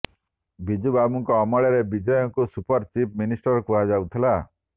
ବିଜୁ ବାବୁଙ୍କ ଅମଳରେ ବିଜୟଙ୍କୁ ସୁପର ଚିଫ୍ ମିନିଷ୍ଟର କୁହାଯାଉଥିଲା